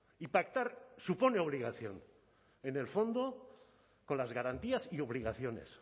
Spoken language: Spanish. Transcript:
y pactar supone obligación en el fondo con las garantías y obligaciones